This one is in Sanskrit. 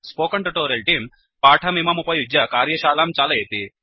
स्पोकेन ट्यूटोरियल् तेऽं पाठमिममुपयुज्य कार्यशालां चालयति